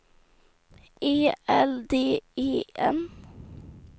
E L D E N